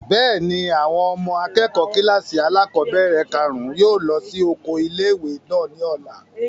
Bẹ́ẹ̀ni, àwọn ọmọ akẹ́kọ̀ọ́ kílàsì alákọ́bẹ̀rẹ̀ kàrún yóò lọ sí oko ilé-ìwé náà ní ọ̀la